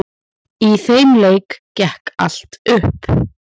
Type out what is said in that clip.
Í þeim leik gekk allt upp.